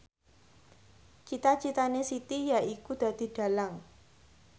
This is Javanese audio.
cita citane Siti yaiku dadi dhalang